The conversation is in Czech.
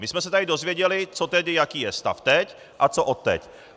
My jsme se tady dozvěděli, co tedy, jaký je stav teď a co odteď.